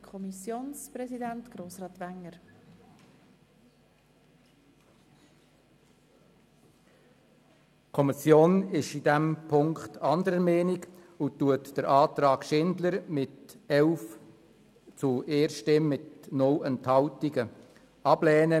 Kommissionspräsident der SiK.Die Kommission ist in diesem Punkt anderer Meinung und lehnt den Antrag von Grossrätin Schindler mit 11 zu 1 Stimmen bei keiner Enthaltung ab.